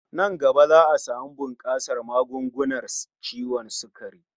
Nan gaba za'a samu bunkasar magungunar ciwon sukari